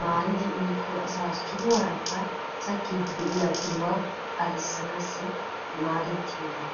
maaridi uyikko asaa sohuwaarakka sakkiiddi de"iya uluwa agissanaassi maadettiyoogaa.